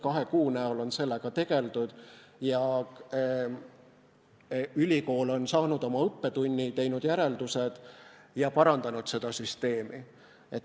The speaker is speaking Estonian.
Kahe kuu jooksul on sellega tegeletud, ülikool aga on saanud õppetunni, teinud järeldused ja parandanud oma süsteemi.